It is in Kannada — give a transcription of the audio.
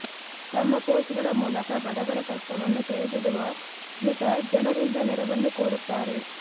ತಮ್ಮ ಪೋಸ್ಟ್ ಗಳ ಮೂಲಕ ಬಡವರ ಕಷ್ಟವನ್ನು ತೆರೆದಿಡುವ ಸ್ಮಿತಾ ಜನರಿಂದ ನೆರವನ್ನೂ ಕೋರುತ್ತಾರೆ